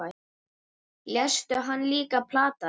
Léstu hann líka plata þig?